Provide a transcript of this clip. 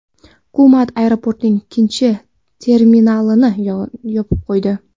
Hukumat aeroportning ikkinchi terminalini yopib qo‘ydi.